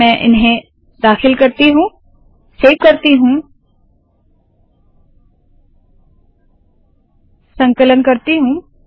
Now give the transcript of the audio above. मैं इन्हें दाखिल करती हूँ सेव करती हूँ और संकलन करती हूँ